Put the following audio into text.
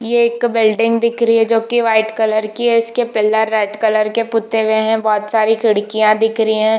ये एक बिल्डिंग दिख रही है जो कि वाइट कलर की है इसके पिलर व्हाइट कलर के पुते हुए हैबहुत सारी खिड़कियां दिख रही है।